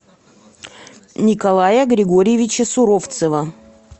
николая григорьевича суровцева